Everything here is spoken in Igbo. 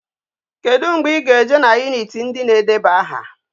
Kedu mgbe I ga eje na unit ndi na edebe aha?